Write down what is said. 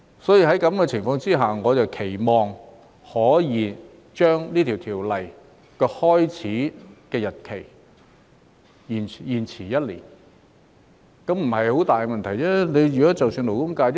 在這種情況下，我期望可以將這項法例的開始生效日期延遲一年，這理應不是很大問題。